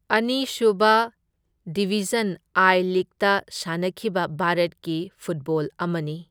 ꯑꯅꯤ sub division I ꯂꯤꯒꯇ ꯁꯥꯟꯅꯈꯤꯕ ꯚꯥꯔꯠꯀꯤ ꯐꯨꯠꯕꯣꯜ ꯑꯃꯅꯤ꯫